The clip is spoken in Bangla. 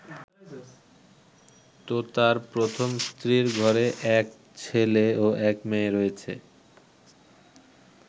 তোতার প্রথম স্ত্রীর ঘরে এক ছেলে ও এক মেয়ে রয়েছে।